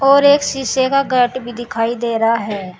और एक शीशे का गेट भी दिखाई दे रहा है।